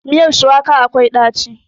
Miyar shuwaka akwai ɗaci.